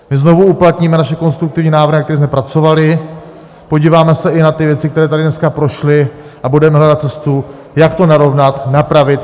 My znovu uplatníme naše konstruktivní návrhy, na kterých jsme pracovali, podíváme se i na ty věci, které tady dneska prošly, a budeme hledat cestu, jak to narovnat, napravit.